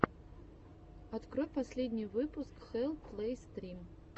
открой последний выпуск хэлл плэй стрим